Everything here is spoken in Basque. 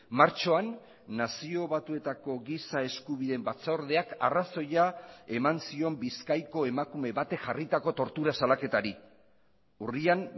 martxoan nazio batuetako giza eskubideen batzordeak arrazoia eman zion bizkaiko emakume batek jarritako tortura salaketari urrian